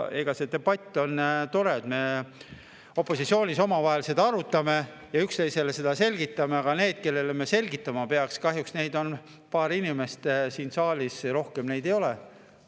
Eks debatt on tore, kui me opositsioonis omavahel siin arutame ja üksteisele seda selgitame, aga nendest, kellele me seda selgitama peaks, on kahjuks paar inimest siin saalis, rohkem neid ei ole.